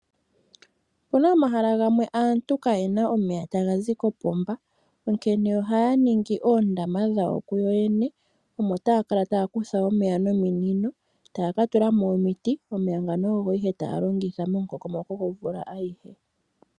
Opuna omahala gamwe aantu ka yena omeya ta ga zi kopomba onkene oha ya ningi oondama dhawo ku yo yene. Mono omo taya kala ta ya kutha omeya nominino eta ya ka tulamo omiti, omeya ngono ogo taya kala ta ya longitha monkonkomoko gomvula ayihe.